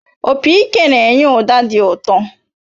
Opị ike na-enye ụda dị ụtọ